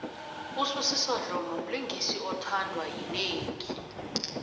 usbusiso dlomo mlingisi othandwa yinengi